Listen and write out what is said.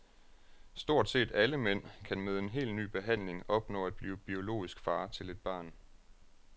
Stort set alle mænd kan med en helt ny behandling opnå at blive biologisk far til et barn.